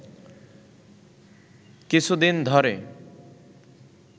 কিছুদিন ধরে